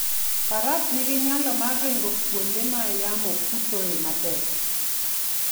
Faras nigi nyalo mar ringo kuonde ma yamo kuthoe matek.